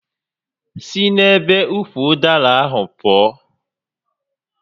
Si n'ebe ukwu ụdara ahụ pụọ!